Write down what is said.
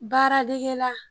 Baara dege la.